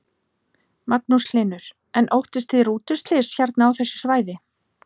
Magnús Hlynur: En óttist þið rútuslys hérna á þessu svæði?